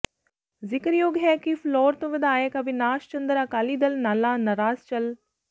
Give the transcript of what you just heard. ਜ਼ਿਕਰਯੋਗ ਹੈ ਕਿ ਫਿਲੌਰ ਤੋਂ ਵਿਧਾਇਕ ਅਵਿਨਾਸ਼ ਚੰਦਰ ਅਕਾਲੀ ਦਲ ਨਾਲਾ ਨਾਰਾਜ਼ ਚੱਲ